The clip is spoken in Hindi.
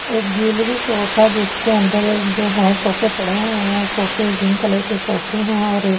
एक ज्वैलरी शॉप है जिसके अंदर जो है सोफे पड़े हुए हैं सोफे जिंक कलर के सोफे हैं और एक।